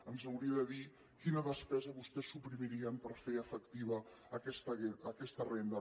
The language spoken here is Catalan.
ens hauria de dir quina despesa vostès suprimirien per fer efectiva aquesta renda